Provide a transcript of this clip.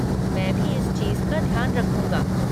मैं भी इस चीज़ का ध्यान रखूंगा।